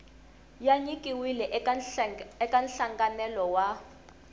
ya nyikiwile eka nhlanganelo wa